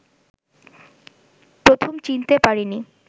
প্রথম চিনতে পারিনি